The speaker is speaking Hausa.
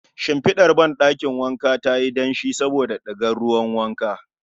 Shinfidar ɗakin wanka tayi danshi saboda digar ruwan wanka